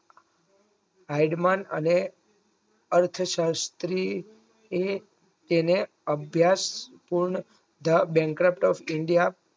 હાયગ મન અને અર્થ શાસ્ત્રી એ તેને અભ્યાસ તેમ ધ બૅનકતક ઇન્ડિયા